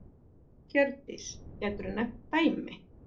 Hjördís: Geturðu nefnt dæmi?